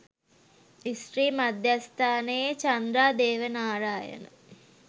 ස්ත්‍රී මධ්‍යස්ථානයේ චන්ද්‍රා දේවනාරායන